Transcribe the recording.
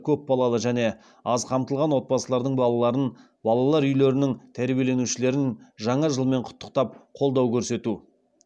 көпбалалы және аз қамтылған отбасылардың балаларын балалар үйлерінің тәрбиеленушілерін жаңа жылмен құттықтап қолдау көрсету